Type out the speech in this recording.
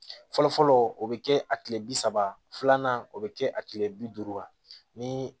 Fɔlɔ fɔlɔ o bɛ kɛ a tile bi saba filanan o bɛ kɛ a tile bi duuru kan ni